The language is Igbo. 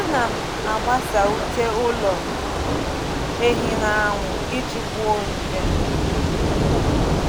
A na m agbasa ute ụlọ ehi n'anwụ iji gbuo nje.